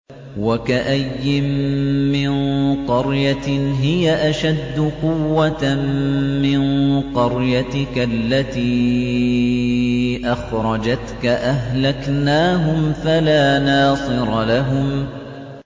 وَكَأَيِّن مِّن قَرْيَةٍ هِيَ أَشَدُّ قُوَّةً مِّن قَرْيَتِكَ الَّتِي أَخْرَجَتْكَ أَهْلَكْنَاهُمْ فَلَا نَاصِرَ لَهُمْ